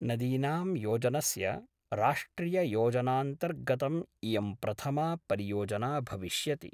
नदीनां योजनस्य राष्ट्रिययोजनान्तर्गतम् इयं प्रथमा परियोजना भविष्यति।